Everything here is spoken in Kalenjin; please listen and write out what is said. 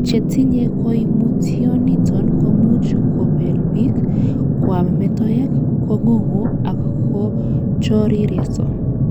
Chetinye koimutioniton komuch kobelbik, kwam metoek, kong'ung' ak kochorireso.